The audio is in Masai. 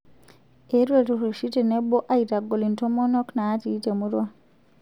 Eetuo ilturruri tenebo aitagol intomonok naati te murua